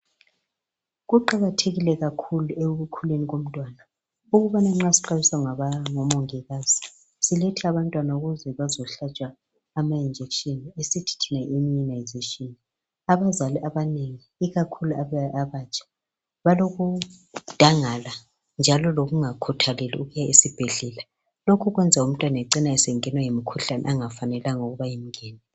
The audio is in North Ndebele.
Kuqakathekile kakhulu ekukhuleni komntwana ukubana nxa sixwayiswa ngomongikazi silethe abantwana ukuze bazohlatshwa amajekiseni esithi thina yi iimmunisation. Abazali abanengi ikakhulu abatsha balokudangala njalo lokungakhuthaleli ukuya esibhedlela, lokhu kwenza umntwana ecine esengenwa yimikhuhlane engafanelanga ukuba imngene.